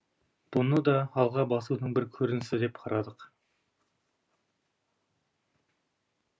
бұны да алға басудың бір көрінісі деп қарадық